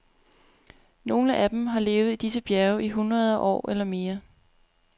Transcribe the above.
Nogle af dem har levet i disse bjerge i hundrede år eller mere.